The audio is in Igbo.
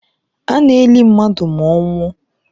A na-eli mmadụ ma ọ nwụọ